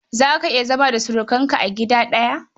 Za ka iya zama da surukanka a gida ɗaya?